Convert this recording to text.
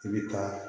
I bi taa